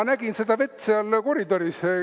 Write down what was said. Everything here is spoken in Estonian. Ma nägin seda vett seal koridoris.